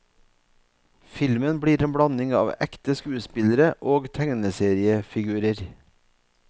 Filmen blir en blanding av ekte skuespillere og tegneseriefigurer.